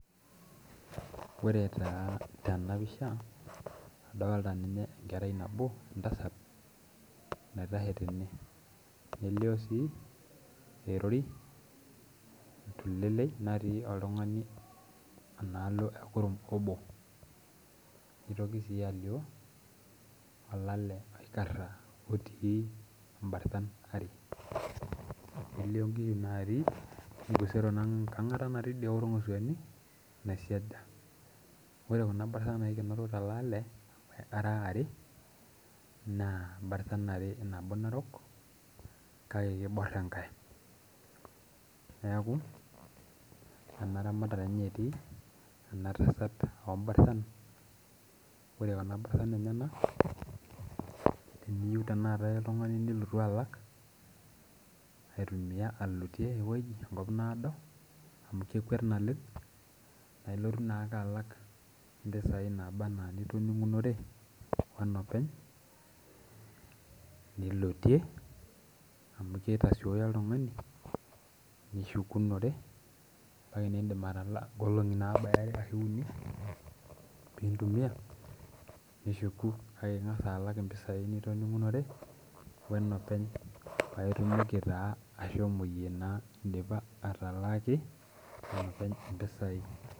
Oee taa tenapisha idolta entasat naitashe tene nelio erori tulelei natii oltungani tekurum nitoki si alio olale oikaea otii mbarsan are nelio nkishu natii enkangata naisiaja orngosuani ore kuna bartan naikenoro tolale era are na mbarsan are nabo narok kake kibor enkae neaku enaramatare etii enatasan ombarsan na ore kuna persan kelotu aitumia alotie enkop naado nelotu alak anaa enitoningore enopeny nilotie amu kitasoyio oltungani kake indim nishuku